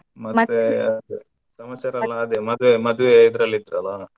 ಮತ್ತೆ ಸಮಾಚಾರ ಎಲ್ಲ ಅದೇ ಮದುವೆ ಮದುವೆ ಇದರಲ್ಲಿ .